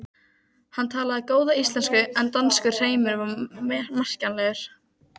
Hann talaði góða íslensku en danskur hreimur var merkjanlegur.